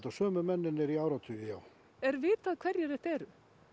sömu mennirnir í áratugi er vitað hverjir þetta eru